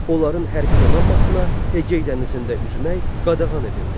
Onların hərbi donanmasına Egey dənizində üzmək qadağan edildi.